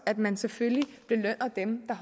at man selvfølgelig belønner dem